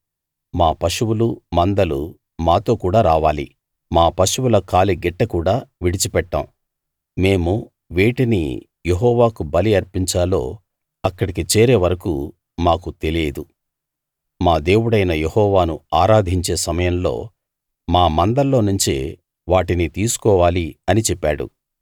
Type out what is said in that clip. మా పశువులు మందలు మాతో కూడా రావాలి మా పశువుల కాలి గిట్ట కూడా విడిచిపెట్టం మేము వేటిని యెహోవాకు బలి అర్పించాలో అక్కడికి చేరే వరకూ మాకు తెలియదు మా దేవుడైన యెహోవాను ఆరాధించే సమయంలో మా మందల్లోనుంచే వాటిని తీసుకోవాలి అని చెప్పాడు